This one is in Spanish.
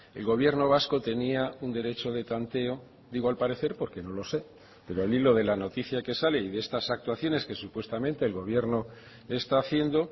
el gobierno vasco tenía un derecho de tanteo digo al parecer porque no lo sé pero al hilo de la noticia que sale y de estas actuaciones que supuestamente el gobierno está haciendo